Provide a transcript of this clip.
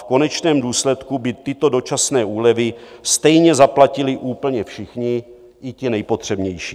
V konečném důsledku by tyto dočasné úlevy stejně zaplatili úplně všichni, i ti nejpotřebnější.